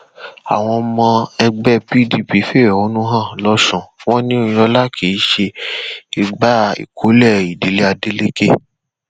àwọn ọmọ ẹgbẹ pdp fẹhónú hàn lọsùn wọn ní oyinlọlá kì í ṣe igba ìkọlé ìdílé adeleke